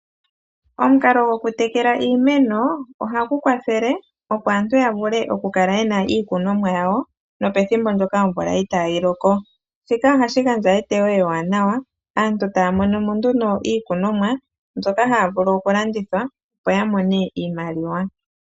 Omukalo gokutekela iimeno ohagu kwathele opo aantu ya vule okukala ye na iikunomwa yawo nopethimbo ndyoka omvula itaaayi loko. Shika ohashi gandja eteyo ewaanawa, aantu taa mono mo nduno iikunomwa mbyoka haa vulu okulanditha, opo ya mone iimaliwa.